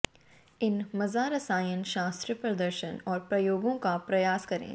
इन मज़ा रसायन शास्त्र प्रदर्शन और प्रयोगों का प्रयास करें